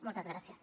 moltes gràcies